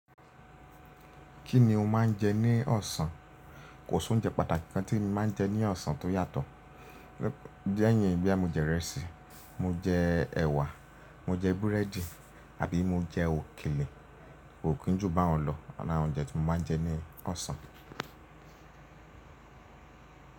Kí ni o máa ń jẹ ní ọ̀sán? Kò sí oúnjẹ pàtàkì kan tí mo máa ń jẹ ní ọ̀sán tó yàtọ̀. Lẹ́yìn boya, mo jẹ ìrẹsì, mo jẹ ẹ̀wà, mo jẹ búrẹ́dì àbí mo jẹ òkèlè. Ko kin jú bà ń lọ oun ni awon oúnjẹ tí mo máa ń jẹ ní ọ̀sán.